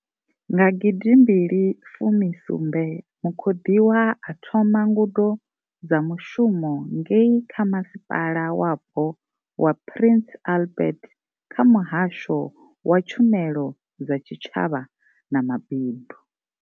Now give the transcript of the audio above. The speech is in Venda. Nga gidimbili fumi sumbe, mukhoḓiwa a thoma ngudo dza mushumo ngei kha masipala Wapo wa Prince Albert kha muhasho wa tshumelo dza tshi tshavha na ma bindu.